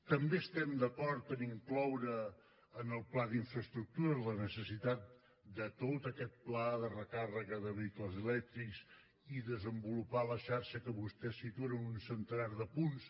també estem d’acord a incloure en el pla d’infraestructures la necessitat de tot aquest pla de recàrrega de vehicles elèctrics i a desenvolupar la xarxa que vostès situen en un centenar de punts